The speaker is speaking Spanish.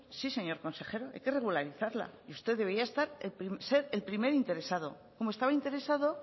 sí señor consejero hay que regularizarla usted debería ser el primer interesado como estaba interesado